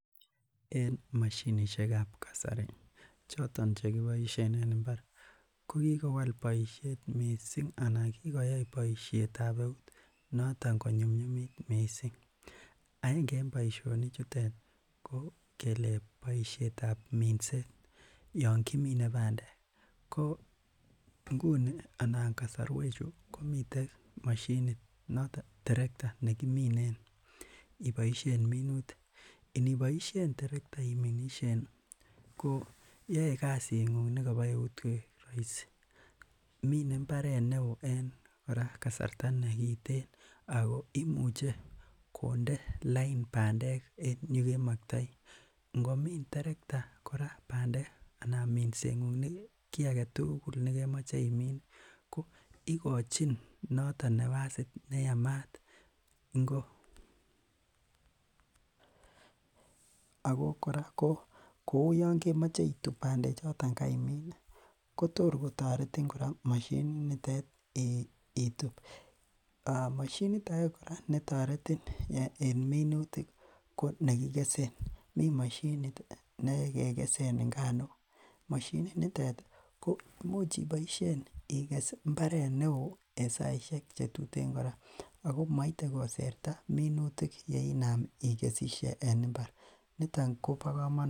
En mashinishek ab kasari choton chekiboishe eng' mbar kokikowal boishet mising' anan kokoyai boishetab eut noton konyumyumat mising' ak en boishonik chutet ko kele boishetab minset yon kiminei bandek ko nguni anan kasarwechu komite mashinit noto terekta nekiminen iboishen minutik niboishen terekta iminishen ko yoei kasi ng'uk nekabo eut koek raisi mine mbaret neo en kora kasarta nekitin ako imuche konde lain bandek en yekemaktoi ngomin terekta kora bandek anan minseng'uk nebo kii agetugul nekemoche imin ko ikochin noto napasit neyamat ako kora kou yon yemoche itup bandechoton kaimin kotor kotaretin kora mashinit nitet itup mashinit age kora netoretin en minutik ko nekikese mi mashinit nekekeswn nganok mashinit nitet ko much iboishen ikes mbaret neo en saishek chetutin kora ako maitei koserta minutik yeinam ikesishe en mbar noton kobo kamanut